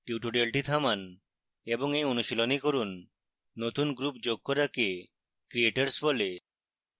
tutorial থামান এবং এই অনুশীলনী করুন নতুন group যোগ করাকে creators বলে